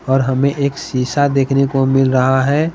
और हमें एक शीशा देखने को मिल रहा है।